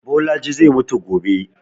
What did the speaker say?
Bolaji zai mutu gobe